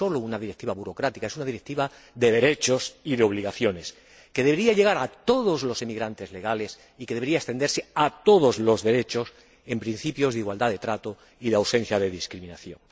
No es sólo una Directiva burocrática, es una Directiva de derechos y de obligaciones, que debería llegar a todos los emigrantes legales y que debería extenderse a todos los derechos en principios de igualdad de trato y de ausencia de discriminación.